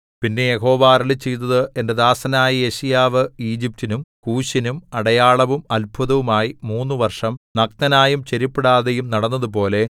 പിന്നെ യഹോവ അരുളിച്ചെയ്തത് എന്റെ ദാസനായ യെശയ്യാവ് ഈജിപ്റ്റിനും കൂശിനും അടയാളവും അത്ഭുതവും ആയി മൂന്നു വർഷം നഗ്നനായും ചെരിപ്പിടാതെയും നടന്നതുപോലെ